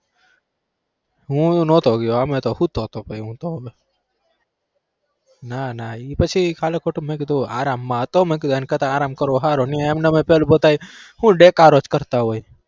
હું નતો ગયો અમે તો સુતો તો ના ના ઈ પછી ખાલી ખોટું મેં કીધું આરામમાં હતો મેં કીધું એના કરતા આરામ કરવો હારો એમનેમ એ પેલા બધાએ દેકારો જ કરતા હોય.